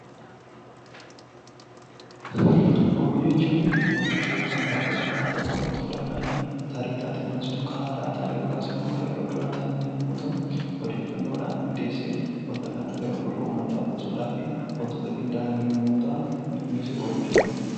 Oduu jechuun wantoota yookaan taateewwan ta'an tokko irratti hundaa'uu dhaan, tarii taateewwan sun kan haaraa ta'an yookaan yeroo duraa ta'an yommuu ta'uu, odeeffannoo dhaan qindeessee wanta kana gara gurra uummataa buusuu dhaaf wantoota qindaa'an yommuu ta'an inni kunisi 'Oduu' jedhama.